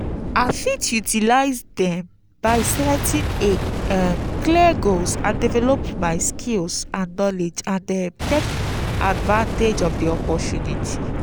i fit utilize dem by setting a um clear goals develop my skills and knowledge and um take advantage of di opportunity.